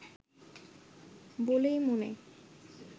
বলেই মনে